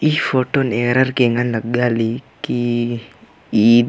ई फोटोन ऐरार के ऐंग़न लग्गा ली की ईद --